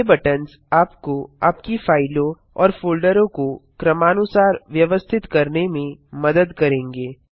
ये बटन्स आपको आपकी फाइलों और फोल्डरों को क्रमानुसार व्यवस्थित करने में मदद करेंगे